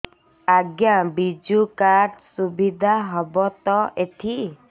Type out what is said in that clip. ଆଜ୍ଞା ବିଜୁ କାର୍ଡ ସୁବିଧା ହବ ତ ଏଠି